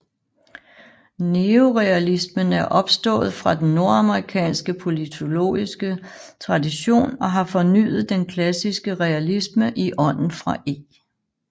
Neorealismen er opstået fra den nordamerikanske politologiske tradition og har fornyet den klassiske realisme i ånden fra E